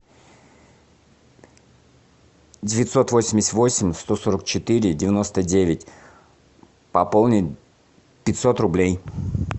девятьсот восемьдесят восемь сто сорок четыре девяносто девять пополнить пятьсот рублей